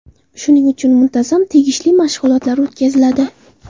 Shuning uchun muntazam tegishli mashg‘ulotlar o‘tkaziladi.